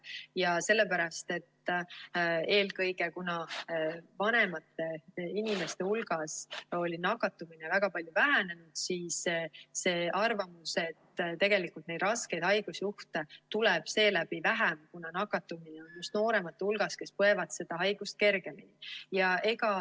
Eelkõige sellepärast, et kuna vanemate inimeste hulgas oli nakatumine väga palju vähenenud, siis oli arvamus, et raskeid haigusjuhte tuleb seeläbi vähem, sest nakatumine on just nooremate hulgas, kes põevad seda haigust kergemini.